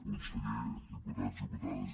conseller diputats diputades